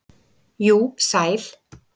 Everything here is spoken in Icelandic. jú, sæl.